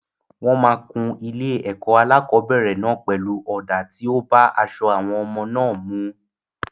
Wọ́n máa kún ilé-ẹ̀kọ́ alákọ̀ọ́bẹ̀rẹ̀ náà pelu ọ̀dà tí ó bá aṣọ àwọn ọmọ náà mu.